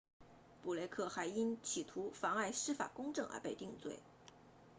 布雷克 blake 还因企图妨碍司法公正而被定罪